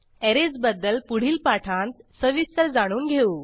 arrays बद्दल पुढील पाठांत सविस्तर जाणून घेऊ